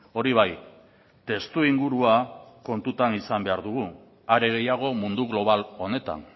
hori bai testuingurua kontutan izan behar dugu are gehiago mundu global honetan